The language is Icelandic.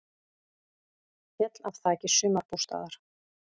Féll af þaki sumarbústaðar